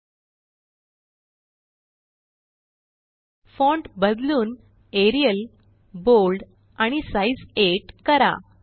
एलटीपॉजेग्ट font बदलून Arial bold आणि size 8 करा